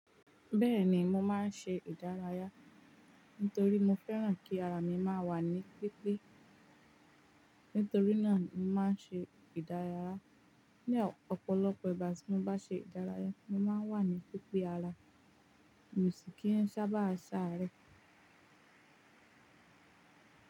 Bẹ́ẹ̀ni mo máa ń ṣe ìdárayá, nítorí mo fẹ́ràn kí ara mi má wà ní pípé. Nítorí náà ni mo máa ń ṣe ìdárayá. Ni ọ̀pọ̀lọpọ̀ ìgbà tí mo bá ṣe ìdárayá, mo máa ń wà ní pípé ara, mi ò sì kí ń sábà sáré.